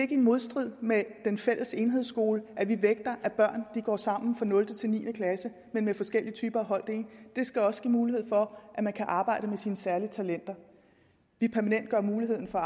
i modstrid med den fælles enhedsskole at vi vægter at børn går sammen fra nul til niende klasse men med forskellige typer af holddeling det skal også give mulighed for at man kan arbejde med sine særlige talenter vi permanentgør muligheden for